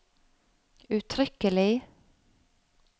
uttrykkelig